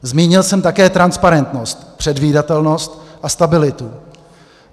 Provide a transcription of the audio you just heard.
Zmínil jsem také transparentnost, předvídatelnost a stabilitu.